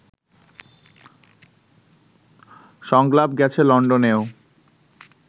সংলাপ গেছে লন্ডনেও